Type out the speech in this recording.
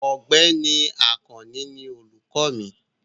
Ọ̀gbẹ́ni Àkànní ní olùkọ mi.